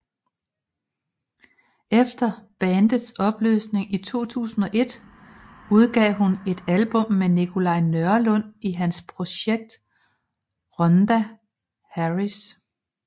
Efter bandets opløsning i 2001 udgav hun et album med Nikolaj Nørlund i hans projekt Rhonda Harris